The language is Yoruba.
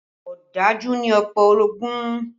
Ọ̀dájú ni ọ̀pọ̀ orogún